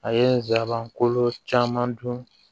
A ye n zaaban kolon caman dun